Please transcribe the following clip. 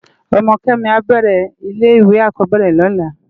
Òmò Kemi ábèrè ilè iwé ákòbèrè lòlá